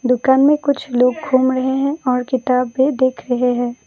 दुकान में कुछ लोग घूम रहे हैं और किताब भी देख रहे हैं।